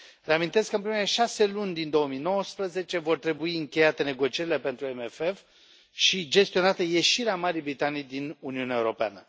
Reamintesc faptul că în primele 6 luni din 2019 vor trebui încheiate negocierile pentru CFM și gestionată ieșirea Marii Britanii din Uniunea Europeană.